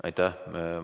Aitäh!